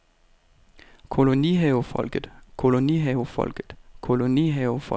kolonihavefolket kolonihavefolket kolonihavefolket